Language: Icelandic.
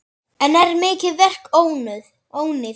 Enn er mikið verk óunnið.